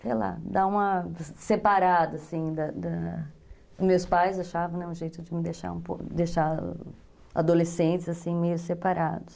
Sei lá, dar uma separada, assim, da da... Meus pais achavam, né, um jeito de me deixar um pouco, deixar adolescentes, assim, meio separados.